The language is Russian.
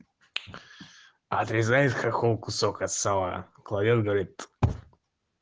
отрезает хохол кусок от сала кладёт говорит